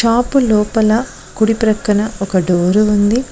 Shop లోపల కుడి ప్రక్కన ఒక డోరు ఉంది.